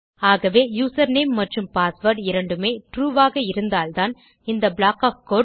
ஆகவே யூசர்நேம் மற்றும்password இரண்டுமே ட்ரூ ஆக இருந்தால்தான் இந்த ப்ளாக் ஒஃப் கோடு